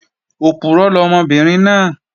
Òpùrọ́ lọmọbìnrin náà